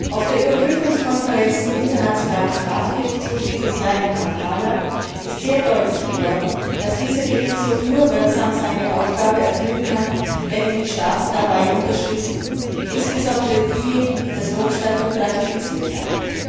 Auf der Überprüfungskonferenz zum Internationalen Strafgerichtshof dieses Jahr in Kampala ist sehr deutlich geworden, dass dieser Gerichtshof nur wirksam seine Aufgabe erfüllen kann, wenn ihn die Staaten dabei unterstützen, insbesondere diejenigen, die das Rom Statut ratifiziert haben.